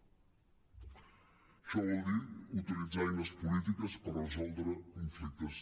això vol dir utilitzar eines polítiques per resoldre conflictes